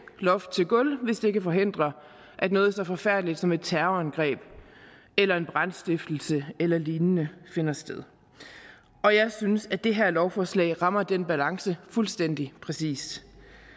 loft til gulv hvis det kan forhindre at noget så forfærdeligt som et terrorangreb eller en brandstiftelse eller lignende finder sted og jeg synes at det her lovforslag rammer den balance fuldstændig præcist